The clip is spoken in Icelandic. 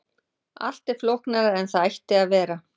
allt er flóknara en það ætti að vera